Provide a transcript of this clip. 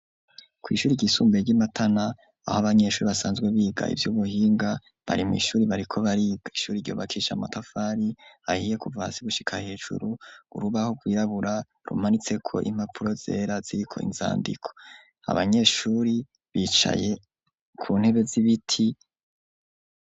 Kw' ishuri ryisumbuye ry'iMatana aho abanyeshuri basanzwe biga ivy'ubuhinga, bari mw' ishuri bariko bariga ishuri ry' ubakishije matafari ahiye, kuva hasi gushika hejuru urubaho rwirabura rumanitseko impapuro zera ziriko inzandiko ,abanyeshuri bicaye ku ntebe z'ibiti.